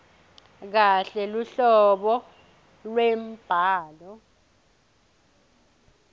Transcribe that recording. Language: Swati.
kahle luhlobo lwembhalo